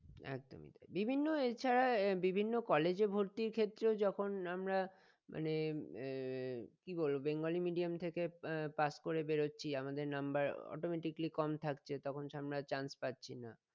একদমই বিভিন্ন এছাড়া আহ বিভিন্ন college এ ভর্তির ক্ষেত্রেও যখন আমরা মানে আহ কি বলবো বেঙ্গলি medium থেকে আহ pass করে বেরচ্ছি আমাদের number automatically কম থাকছে তখন আমরা chance পাচ্ছি না